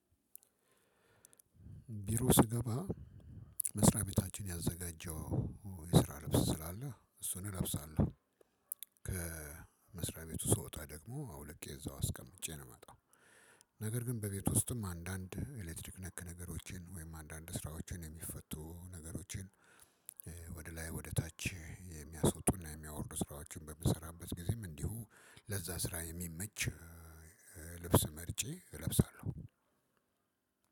ቢሮ ስገባ መስሪያ ቤታችን ያዘጋጀው የስራ ልብስ ስላለ እሱን እለብሳለሁ። ከመስሪያ ቤቱ ስወጣ ደግሞ አውልቄ እዛው አስቀምጬ ነው የምመጣው። ነገር ግን በቤት ውስጥም አንዳንድ ኤሌክትሪክ ነክ ነገሮችን ወይም አንዳንድ ስራዎችን የሚፈቱ ነገሮችን። ወደ ላይ ወደ ታች የሚያስወጡና የሚያወርዱ ስራዎችን በምሰራበት ጊዜም እንዲሁ ለዛ ስራ የሚመች ልብስ መርጬ እለብሳለሁ።